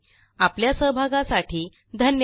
आपल्या सहभागासाठी धन्यवाद